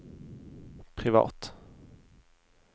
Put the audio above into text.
privat